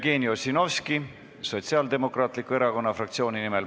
Jevgeni Ossinovski Sotsiaaldemokraatliku Erakonna fraktsiooni nimel.